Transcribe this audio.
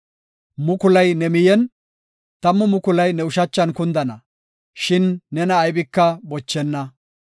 Mukulay ne miyen, tammu mukulay ne ushachan kundana; shin nena aybika bochenna.